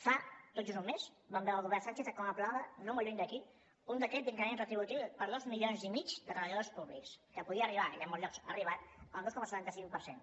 fa tot just un mes vam veure el govern sánchez com aprovava no molt lluny d’aquí un decret d’increment retributiu per dos milions i mig de treballadors públics que podia arribar i a molts llocs ha arribat al dos coma setanta cinc per cent